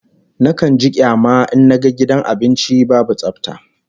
Nakan ji kyama in naga gidan abinci babu tsafta